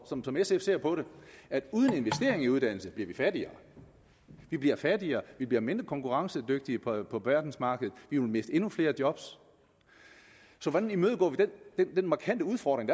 som som sf ser på det at uden investering i uddannelse bliver vi fattigere vi bliver fattigere vi bliver mindre konkurrencedygtige på på verdensmarkedet vi vil miste endnu flere job så hvordan imødegår vi den markante udfordring